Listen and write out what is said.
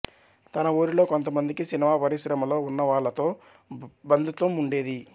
తన ఊరిలో కొంతమందికి సినిమా పరిశ్రమలో ఉన్న వాళ్ళతో బంధుత్వం ఉండేది